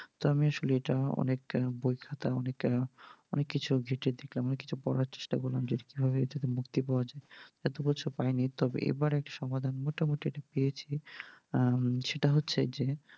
তা আমি আসলে এটা অনেক বই খাতা অনেক কিছু ঘেটে দেখলাম, অনেক কিছু বলার চেষ্টা করলাম, যে এটা কিভাবে মুক্তি পাওয়া যায়, তা অবশ্য পায়নি, তবে এবার একটা সমাধান মোটামুটি একটা পেয়েছি, আহ সেটা হচ্ছে যে